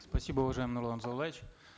спасибо уважаемый нурлан зайроллаевич